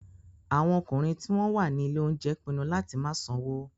Àwọn ọkùnrin tí wọ́n wà ní ilé-oúnjẹ pinnu láti má sanwó.